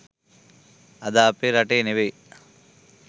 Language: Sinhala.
අද අපේ රටේ ‍නෙවෙයි